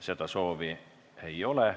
Seda soovi ei ole.